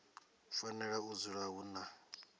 fanela u dzula hu na